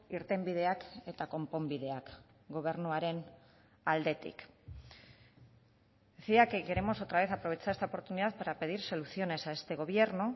irtenbideak eta konponbideak gobernuaren aldetik decía que queremos otra vez aprovechar esta oportunidad para pedir soluciones a este gobierno